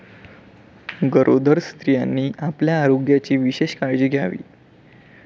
गरोदर स्त्रियांनी आपल्या आरोग्याची विशेष काळजी घ्यावी.